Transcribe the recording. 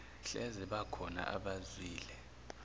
hleze bakhona abazwile